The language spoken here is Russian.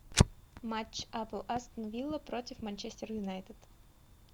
матч апл астон вилла против манчестер юнайтед